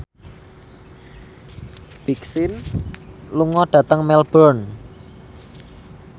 Big Sean lunga dhateng Melbourne